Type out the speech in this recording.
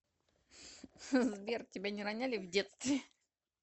сбер тебя не роняли в детстве